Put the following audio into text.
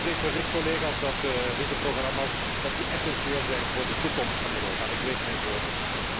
Het spreekt voor zich collega's dat deze programma's essentieel zijn voor de toekomst van Europa en ik weeg mijn woorden.